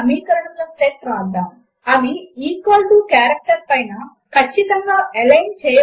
ఇక్కడమనము matrix markup ను వాడాము సమీకరణము యొక్క ప్రతి భాగమును ఒక ఎలిమెంట్ గా భావించాము మరియు వాటిని సింబల్ లతో విడగొట్టాము